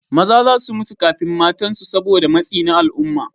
Maza za su mutu kafin matansu saboda matsi na al'umma.